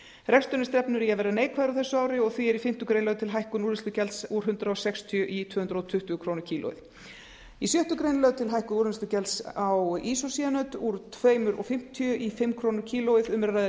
reksturinn stefnir í að verða neikvæður á þessu ári og því er í fimmtu grein lögð til hækkun úrvinnslugjalds úr hundrað sextíu komma núll núll krónur kílógrömm í sjöttu grein er lögð til hækkun á ísócyanöt úr tveimur og fimmtíu krónum á kílógramm um er að ræða